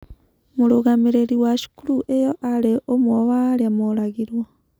Mũrũgamĩrĩri wa cukuru ĩyo aarĩ ũmwe wa arĩa mooragirũo.